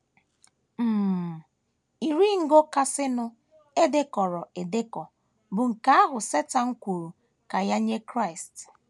um Iri ngo kasịnụ e dekọrọ edekọ bụ nke ahụ Setan kwuru ka ya nye Kraịst.